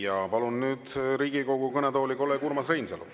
Ja palun nüüd Riigikogu kõnetooli kolleeg Urmas Reinsalu.